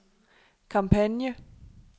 kampagne